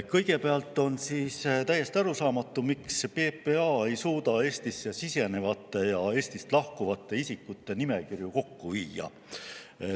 Kõigepealt on täiesti arusaamatu, miks PPA ei suuda Eestisse sisenevate ja Eestist lahkuvate isikute nimekirju kokku viia.